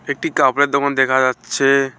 একটি কাপড়ের দোকান দেখা যাচ্ছে।